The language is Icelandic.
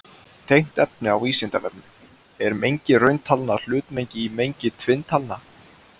Tengt efni á Vísindavefnum: Er mengi rauntalna hlutmengi í mengi tvinntalna?